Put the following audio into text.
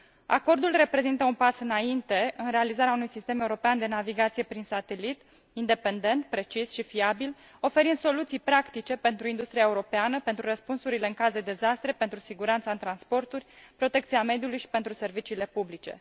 Acordul reprezintă un pas înainte în realizarea unui sistem european de navigație prin satelit independent, precis și fiabil, oferind soluții practice pentru industria europeană, pentru răspunsurile în caz de dezastre, pentru siguranța în transporturi, protecția mediului și pentru serviciile publice.